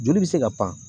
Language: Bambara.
Joli bɛ se ka pan